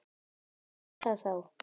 Hvað er það þá?